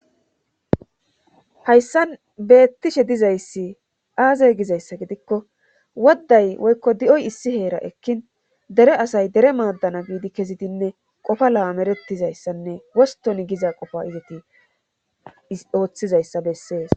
hayssan beettishe dizayssi aaze gizayssa gidikko wodday woykko di7oy issi heera ekkin dere asay dere maaddana biidi kezidinne qofa la7ameretizayssanne woston giza qofa izati ooththizayssa bessees